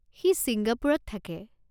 সি ছিংগাপুৰত থাকে।